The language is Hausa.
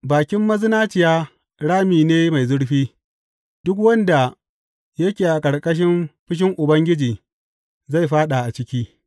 Bakin mazinaciya rami ne mai zurfi; duk wanda yake a ƙarƙashin fushin Ubangiji zai fāɗa a ciki.